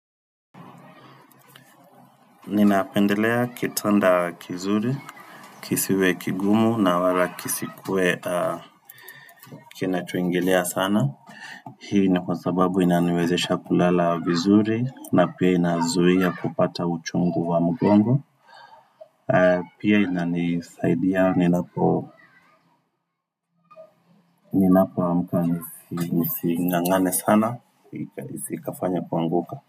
Ninapendelea kitanda kizuri, kisiwe kigumu na wala kisikue kinacho ingilia sana. Hii ni kwa sababu inaniwezesha kulala vizuri na pia inazuia kupata uchungu wa mgongo. Pia inani saidia ninapo amka nising'ang'ane sana. Ikafanya kuanguka.